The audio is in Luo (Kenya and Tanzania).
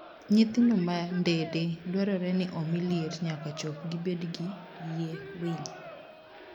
Nyithindo ma ndede dwarore ni omi liet nyaka chop gibed gi yie winy.